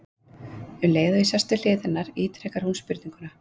Um leið og ég sest við hlið hennar ítrekar hún spurninguna.